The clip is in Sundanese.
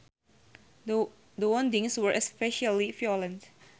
The woundings were especially violent